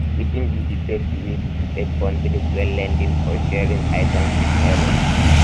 wetin be di best way to set boundaries when lending um or sharing um items with neighbors um